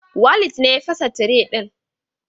Walid ne ya fasa tire din.